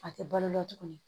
A tɛ balo la tuguni